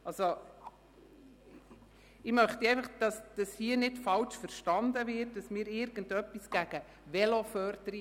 Ich möchte nicht, dass hier fälschlicherweise verstanden wird, wir hätten etwas gegen Veloförderung.